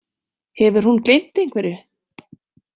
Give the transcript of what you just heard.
Hefur hún gleymt einhverju?